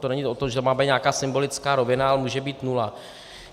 To není o tom, že to má být nějaká symbolická rovina, ale může být nula.